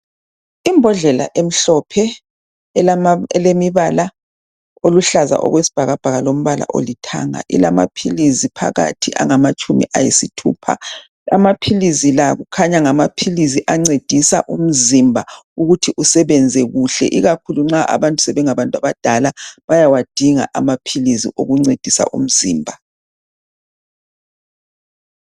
Imbhodlela emhlophe elemibala oluhlaza okwesibhakabhaka, lombala olithanga. Ilamaphilisi phakathi angamatshumi ayisithupha. Amaphilizi la kukhunya ngamaphilizi ancedisa umzimba, ukuthi usebenze kuhle. Ikakhulu nxa abantu sebengabantu abadala, bayawadinga amaphilizi ukuncedisa umzimba.